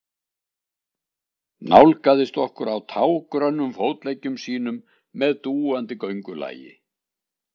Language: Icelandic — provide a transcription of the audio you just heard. Nálgaðist okkur á tággrönnum fótleggjum sínum með dúandi göngulagi.